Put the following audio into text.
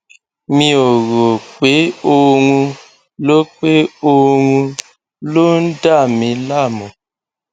mi ò rò pé oorun ló pé oorun ló ń dà mí láàmú